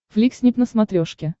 фликснип на смотрешке